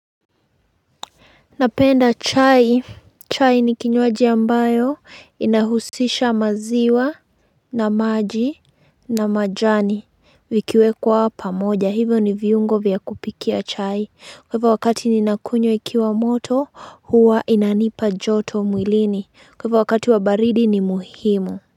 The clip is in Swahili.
Napenda chai, chai ni kinywaji ambayo inahusisha maziwa na maji na majani vikiwekwa pamoja hivyo ni viungo vya kupikia chai kwa hivyo wakati ninakunywa ikiwa moto huwa inanipa joto mwilini kwa hivyo wakati wa baridi ni muhimu.